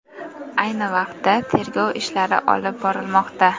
Ayni vaqtda tergov ishlari olib borilmoqda.